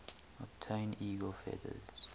obtain eagle feathers